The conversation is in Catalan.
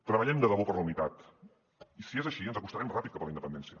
treballem de debò per la unitat i si és així ens acostarem ràpid cap a la independència